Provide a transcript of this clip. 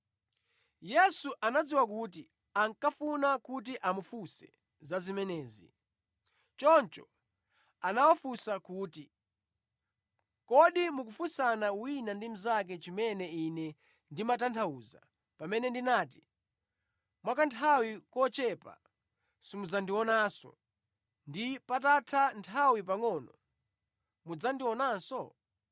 Yesu anadziwa kuti ankafuna kuti amufunse za zimenezi, choncho anawafunsa kuti, “Kodi mukufunsana wina ndi mnzake chimene Ine ndimatanthauza pamene ndinati, ‘Mwa kanthawi kochepa simudzandionanso,’ ndi ‘patatha nthawi pangʼono mudzandionanso?’